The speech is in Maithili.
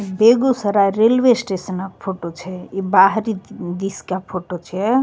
बेगूसराय रेलवे स्टेशन फोटो छै इ बाहरी दिश ए फोटो छै।